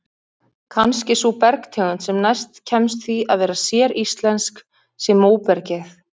Kannski sú bergtegund sem næst kemst því að vera séríslensk sé móbergið.